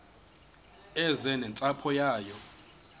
eze nentsapho yayo